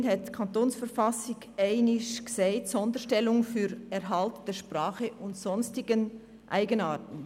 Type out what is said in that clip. Immerhin hat die Verfassung des Kantons Bern (KV) einmal gesagt: «Sonderstellungen für Erhalt der Sprache und sonstigen Eigenarten».